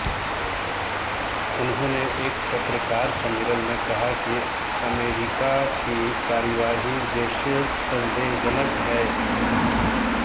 उन्होंने एक पत्रकार सम्मेलन में कहा कि अमेरिका की कार्यवाहियां उद्देश्य संदेहजनक हैं